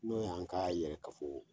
N'o y' an ka yɛrɛ kafo